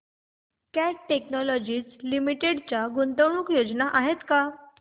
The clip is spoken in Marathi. कॅट टेक्नोलॉजीज लिमिटेड च्या गुंतवणूक योजना आहेत का